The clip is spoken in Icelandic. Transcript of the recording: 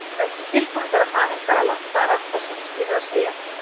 Vertu tilbúinn þegar haninn galar, það er allt og sumt sem ég hef að segja.